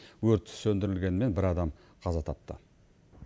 өрт сөндірілгенімен бір адам қаза тапты